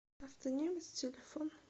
автонемец телефон